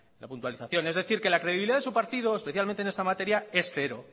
la puntualización es decir que la credibilidad de su partido especialmente en esta materia es cero